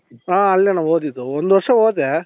ಹ ಅಲ್ಲೇಣ್ಣ ಹೋಗಿದ್ದು ಒಂದ್ ವರ್ಷ ಹೋದೆ